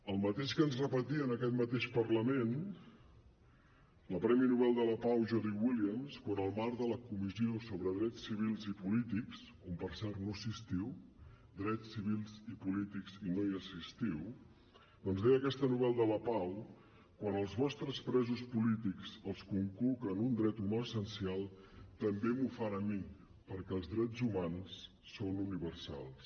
el mateix que ens repetia en aquest mateix parlament la premi nobel de la pau jody williams quan en el marc de la comissió sobre drets civils i polítics on per cert no assistiu drets civils i polítics i no hi assistiu doncs deia aquesta nobel de la pau quan als vostres presos polítics els conculquen un dret humà essencial també m’ho fan a mi perquè els drets humans són universals